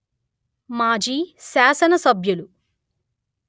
మాజీ శాసన సభ్యులు